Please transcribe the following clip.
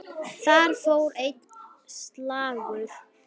Þar fór einn slagur.